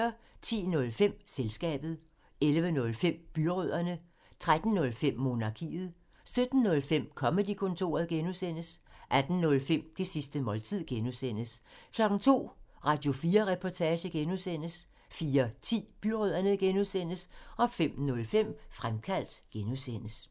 10:05: Selskabet 11:05: Byrødderne 13:05: Monarkiet 17:05: Comedy-kontoret (G) 18:05: Det sidste måltid (G) 02:00: Radio4 Reportage (G) 04:10: Byrødderne (G) 05:05: Fremkaldt (G)